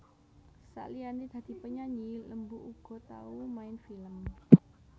Saliyané dadi penyanyi Lembu uga tau main film